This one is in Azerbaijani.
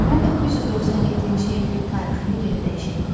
1997-ci il tarixini geri dəyişək.